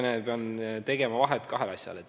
Siin tuleb nüüd vahet teha kahel asjal.